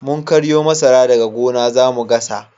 Mun karyo masara daga gona zamu gasa